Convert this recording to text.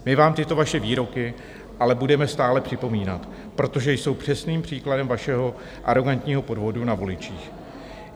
My vám tyto vaše výroky ale budeme stále připomínat, protože jsou přesným příkladem vašeho arogantního podvodu na voličích.